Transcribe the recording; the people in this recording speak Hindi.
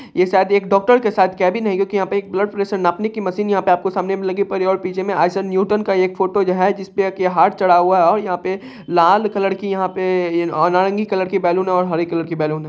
ये शायद एक डॉक्टर का शायद कैबिन है क्युकी यहां पे एक ब्लड प्रेशर नापने की एक मशीन यहां पे आपको सामने मे लगी पड़ी है और पीछे मे न्यूटन का एक फोटो जो है जिसपे एक हार चढ़ा हुआ है और यहां पे लाल कलर की यहां पे नारंगी कलर की बैलून और हरे कलर की बैलून है।